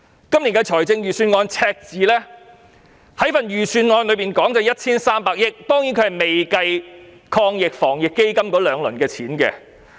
今年預算案公布的赤字是 1,300 億元，當然這數目未計算防疫抗疫基金的兩輪款項。